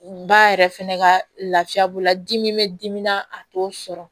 Ba yɛrɛ fɛnɛ ka lafiya b'o la dimi bɛ dimi na a t'o sɔrɔ